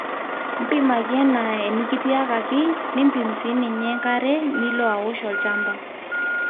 mpimaki enaa enekitiakaki niimpim sinye enkare nilo aosh olchamba